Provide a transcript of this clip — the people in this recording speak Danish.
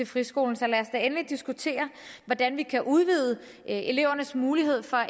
friskolen så lad os da endelig diskutere hvordan vi kan udvide elevernes mulighed for